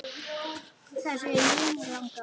Þar séu línur lagðar.